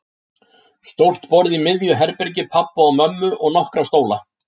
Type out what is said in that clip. Stórt borð í miðju herbergi pabba og mömmu og nokkra stóla.